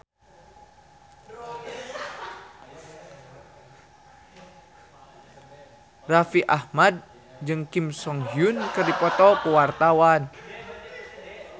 Raffi Ahmad jeung Kim So Hyun keur dipoto ku wartawan